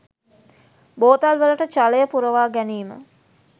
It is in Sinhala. බෝතල් වලට ජලය පුරවා ගැනීම